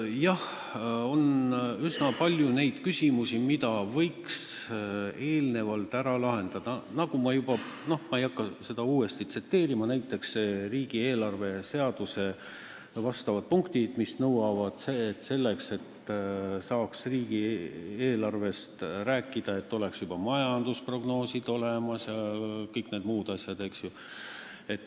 Jah, on üsna palju neid küsimusi, mida võiks eelnevalt ära lahendada , näiteks riigieelarve seaduse punktid, mis nõuavad, et selleks, et saaks riigieelarvest rääkida, peaksid olemas olema juba majandusprognoosid ja kõik need muud asjad.